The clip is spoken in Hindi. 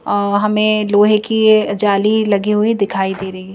अह हमें लोहे की जाली लगी हुई दिखाई दे रही है।